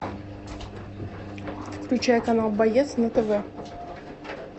включай канал боец на тв